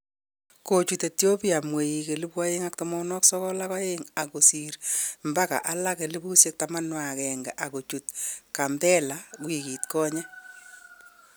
Kochut Ethiopia Mweik 292000 ako sir mbaka alage 11000 ak kochut Gambella wikit konye